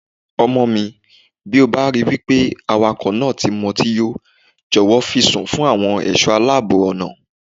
Ọmọmi, tí o bá ripé awakọ̀ náà ti mutí yó, jọ̀wọ́ fi í sùn fún àwọn ẹ̀ṣọ́ aláàbọ̀ ọ̀nà.